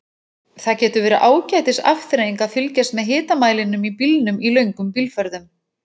Það getur verið ágætis afþreying að fylgjast með hitamælinum í bílnum í löngum bílferðum.